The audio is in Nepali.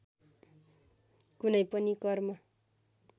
कुनै पनि कर्म